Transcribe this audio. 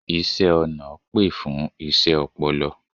iṣẹ ọna pè fún iṣé ọpọlọ